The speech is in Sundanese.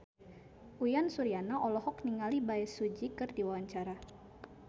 Uyan Suryana olohok ningali Bae Su Ji keur diwawancara